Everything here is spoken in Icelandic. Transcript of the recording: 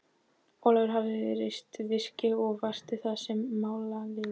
Ólafur hafði reist virki og varist þar með málaliðum.